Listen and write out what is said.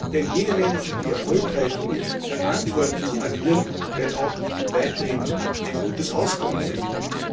Denn jene Manager, die erfolgreich und verantwortlich agieren, werden auch weiterhin ein gutes Auskommen finden.